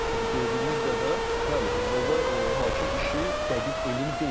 Çünki gördüyümüz qədər, bəli, futbolda hakim işi dəqiq elm deyil.